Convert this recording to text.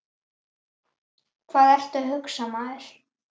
Hvað ertu að hugsa, maður?